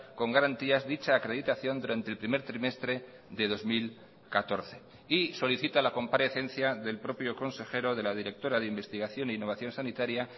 con garantías dicha acreditación durante el primer trimestre de dos mil catorce y solicita la comparecencia del propio consejero de la directora de investigación e innovación sanitaria